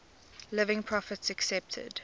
living prophets accepted